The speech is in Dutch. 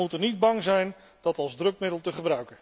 We moeten niet bang zijn dat als drukmiddel te gebruiken.